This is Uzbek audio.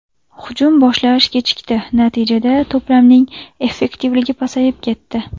Hujum boshlash kechikdi, natijada to‘plarning effektivligi pasayib ketdi.